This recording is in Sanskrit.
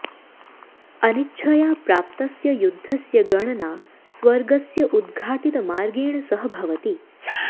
अनिच्छया प्राप्तस्य युद्धस्य गणना स्वर्गस्य उद्घाटितमार्गेण सह भवति